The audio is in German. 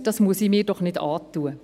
«Das muss ich mir doch nicht antun!